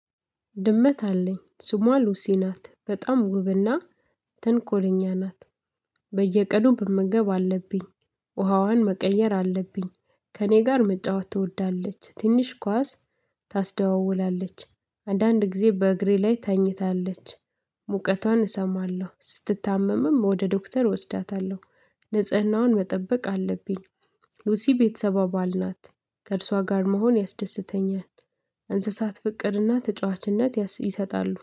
ድመት አለኝ ስሟ ሉሲ ናት። በጣም ውብና ተንኮለኛ ናት። በየቀኑ መመገብ አለብኝ ውሃዋን መቀየር አለብኝ ከእኔ ጋር መጫወት ትወዳለች ትንሽ ኳስ ታስደዋውላለች አንዳንድ ጊዜ በእግሬ ላይ ተኝታለች ሙቀቷን እሰማለሁ ስትታመምም ወደ ዶክተር እወስዳታለሁ። ንጽህናዋን መጠበቅ አለብኝ ሉሲ የቤተሰብ አባል ናት ከእርሷ ጋር መሆን ያስደስተኛል፣ እንስሳት ፍቅርና ተጫዋችነት ይሰጣሉ።